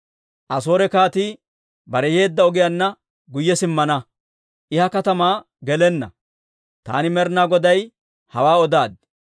Asoore kaatii bare yeedda ogiyaanna guyye simmana; I ha katamaa gelenna. Taani Med'ina Goday hawaa odaaddi.